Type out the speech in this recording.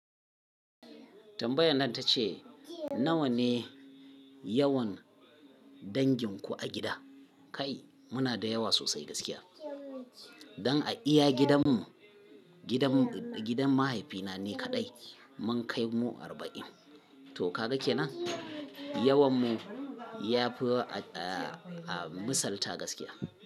Tambayan nan ta ce nawa ne? Yawan danginku a gida? Kai muna da yawa sosai gaskiya. Don a iya gidan mu, gidan, gidan mahaifina ni kaɗai mun kai mu arba'in. To kaga ke nan Yawan mu ya fi a, a misalta gaskiya.